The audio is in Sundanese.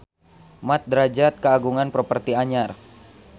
Mat Drajat kagungan properti anyar